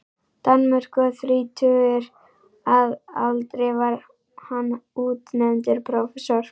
Danmörku, og þrítugur að aldri var hann útnefndur prófessor.